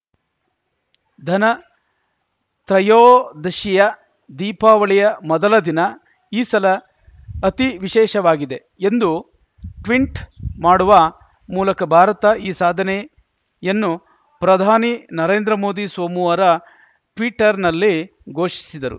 ಧನ ತ್ರಯೋದಶಿಯ ದೀಪಾವಳಿಯ ಮೊದಲ ದಿನ ಈ ಸಲ ಅತಿ ವಿಶೇಷವಾಗಿದೆ ಎಂದು ಟ್ವಿಂಟ್‌ ಮಾಡುವ ಮೂಲಕ ಭಾರತ ಈ ಸಾಧನೆಯನ್ನು ಪ್ರಧಾನಿ ನರೇಂದ್ರ ಮೋದಿ ಸೋಮವಾರ ಟ್ವೀಟರ್‌ನಲ್ಲಿ ಘೋಷಿಸಿದರು